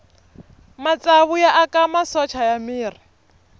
matsavu ya aka masocha ya miri